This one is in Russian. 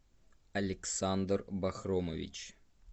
александр бахромович